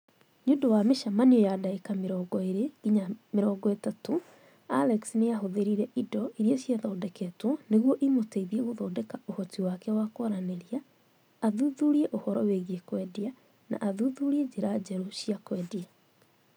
Nĩ ũndũ wa mĩcemanio ya ndagĩka 20 nginya 30, Alex nĩ aahũthĩrire indo iria ciathondeketwo nĩguo imũteithie gũthondeka ũhoti wake wa kwaranĩria, athuthurie ũhoro wĩgiĩ kwendia, na athuthurie njĩra njerũ cia kwendia.